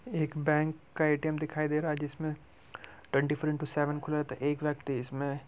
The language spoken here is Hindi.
एक बैंक का ए.टी.एम दिखाई दे रहा है जिसमें टवेन्टी फॉर इंटो सेवन खुला रहता है एक व्यक्ति इसमें --